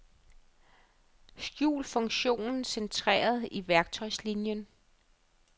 Skjul funktionen centreret i værktøjslinien.